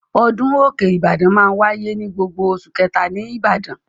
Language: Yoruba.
Ọdún òkè Ìbàdàn máa ń wáyé ní gbogbo oṣù kẹ̀ta ní Ìbàdàn.